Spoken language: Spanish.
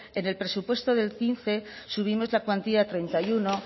en el presupuesto del quince subimos la cuantía a treinta y uno